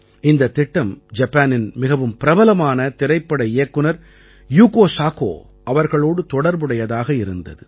இந்தத் திட்டம் ஜப்பானின் மிகவும் பிரபலமான திரைப்பட இயக்குனர் யுகோ சாகோ அவர்களோடு தொடர்புடையதாக இருந்தது